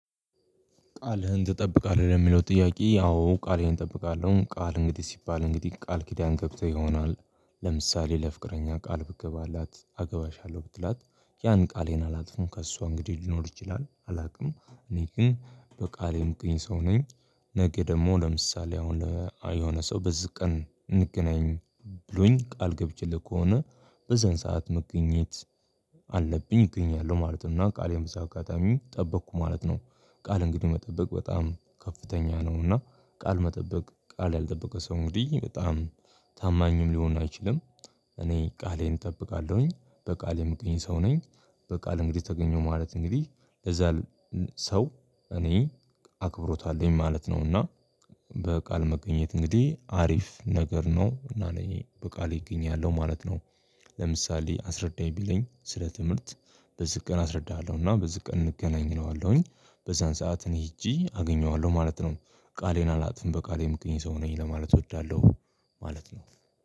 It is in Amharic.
ቃልህን ትጠብቃለህ የሚለው ጥያቄ? አዎ ቃልህን እጠብቃለሁ ቃል እንግዲህ ሲባል እንግዲህ ቃል ኪዳን ገብተህ ይሆናል። ለምሳሌ ለፍቅረኛ ቃል ብገባላት አገባችኋለሁ ብትላት ያን ቃሌን አላጥፍንም ከእሷ እንግዲህ ሊኖር ይችላል አላውቅም። እኔ ግን በቃሌም ቅኝ ሰው ነኝ። ነገ ደግሞ ለምሳሌ አሁን የሆነ ሰው በዚህ ቀን እንገናኝ ብሎኝ ቃል ገብቼልህ ከሆነ በዛን ሰዓት መገኘት አለብኝ እገኛለሁ ማለት ነው እና ቃሌው መሳጋታሚ ጠበቅኩ ማለት ነው። ቃል እንግዲህ መጠበቅ በጣም ከፍተኛ ነውና። ቃል መጠበቅ ቃል ያልጠበቀ ሰው እንግዲህ በጣም ታማኝም ሊሆን አይችልም። እኔ ቃሌን እጠብቃለሁኝ በቃሌ የምገኝ ሰው ነኝ። በቃሌ እንግዲህ ተገኘሁ ማለት እንግዲህ ለዛ ሰው እኔ አክብሮታለኝ ማለት ነው። እና በቃል መገኘት እንግዲህ አሪፍ ነገር ነው እና እኔ በቃሌ እገኛለሁ ማለት ነው። ለምሳሌ አስረዳኝ ቢለኝ ስለ ትምህርት በዚህ ቀን አስረዳሃለሁና በዚህ ቀን እንገናኝነዋለሁኝ በዛን ሰዓት እኔ ሄጄ አገኘዋለሁ ማለት ነው። ቃሌን አላጥፍም በቃሌም ቅኝ ሰው ነኝ ለማለት እወዳለሁ ማለት ነው።